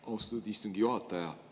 Austatud istungi juhataja!